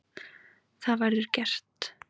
Það verður gert.